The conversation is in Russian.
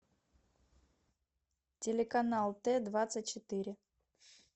телеканал т двадцать четыре